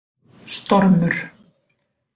Stormur